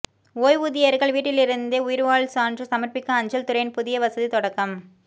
ஓய்வூதியா்கள் வீட்டிலிருந்தே உயிா்வாழ் சான்று சமா்ப்பிக்க அஞ்சல் துறையின் புதிய வசதி தொடக்கம்